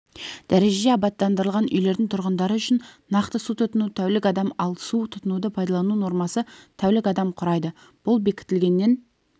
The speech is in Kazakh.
дәрежеде абаттандырылған үйлердің тұрғындары үшін нақты су тұтыну тәулік адам ал су тұтынуды пайдалану нормасы тәулік адам құрайды бұл бекітілгеннен